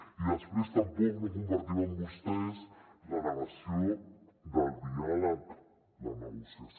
i després tampoc no compartim amb vostès la negació del diàleg la negociació